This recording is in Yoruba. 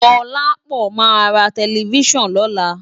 Dolapo má rá tèlèfisán lòlá